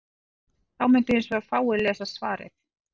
Þá mundu hins vegar fáir lesa svarið.